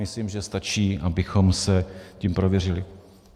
Myslím, že stačí, abychom se tím prověřili.